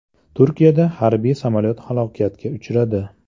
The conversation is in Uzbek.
Turkiyada harbiy samolyot halokatga uchradi.